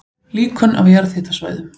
Líkön af jarðhitasvæðum